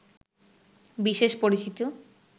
বিশেষ পরিচিত